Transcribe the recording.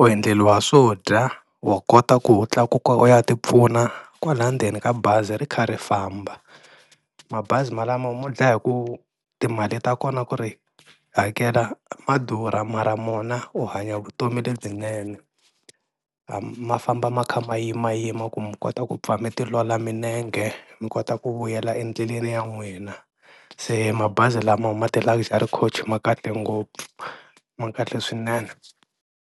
u endleriwa swo dya wa kota ku wu tlakuka u ya ti pfuna kwala ndzeni ka bazi ri kha ri famba, mabazi malamo mo dlaya hi ku timali ta kona ku ri hakela ma durha mara mona u hanya vutomi lebyinene, ma famba ma kha ma yimayima ku mi kota ku pfa mi tiolola milenge mi kota ku vuyela endleleni ya n'wina, se mabazi lama ma ti-Luxury coach ma kahle ngopfu ma kahle swinene.